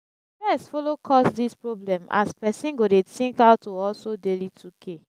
stress follow cause dis problem as pesin go dey tink ow to hustle daily 2k